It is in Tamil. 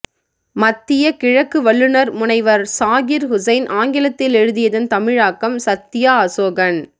மத்திய கிழக்கு வல்லுனர் முனைவர் ஸாகிர் ஹுசைன் ஆங்கிலத்தில் எழுதியதன் தமிழாக்கம் சத்யா அசோகன்